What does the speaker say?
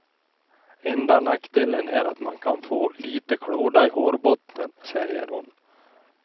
Enda nackdelen är att man kan få lite klåda i hårbotten, säger hon.